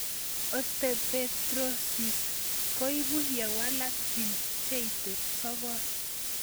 Osteopetrosis ko ipu ye walak gene cheite sogol